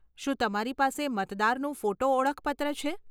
શું તમારી પાસે મતદારનું ફોટો ઓળખપત્ર છે?